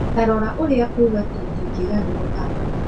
ta rora ũrĩa kuuga ti ndingĩgarũrũka.